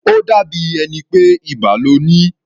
Ó dàbí ẹni pé ibà lo ní.